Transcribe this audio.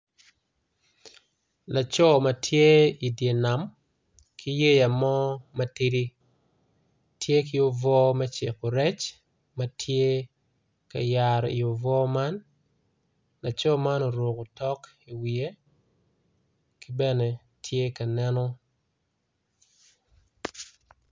Laco matye idyer nam ki yea mo matidi tye ki obwor me ciko rec matye ka yaro iyi obwor man laco man oruko tok i wiye kibene tye ka neno.